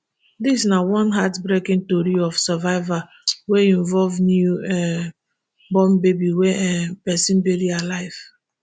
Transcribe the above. dis na one heartbreaking tori of survival wey involve new um born baby wey um pesin bury alive